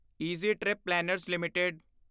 easy trip planners LTD